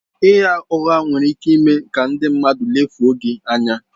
Ịgha ụgha nwere ike ime ka ndị mmadụ lefuo gị anya.